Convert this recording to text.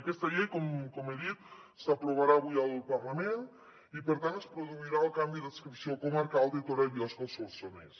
aquesta llei com he dit s’aprovarà avui al parlament i per tant es produirà el canvi d’adscripció comarcal de torà i biosca al solsonès